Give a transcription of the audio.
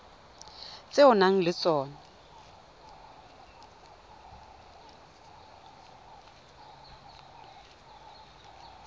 tse o nang le tsona